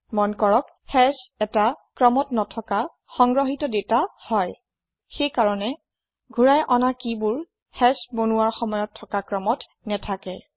মন কৰকঃ হাশ এটা ক্ৰমত নথকা সংগ্ৰহিত দাতা হয় সেইকাৰণে ঘূৰাই অনা কিবোৰ হাশ বনোৱাৰ সময়ত থকা ক্ৰমত নেথাকে